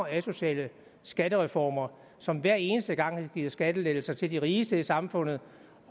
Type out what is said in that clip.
asociale skattereformer som hver eneste gang har givet skattelettelser til de rigeste i samfundet